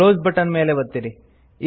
close button ಮೇಲೆ ಒತ್ತಿರಿ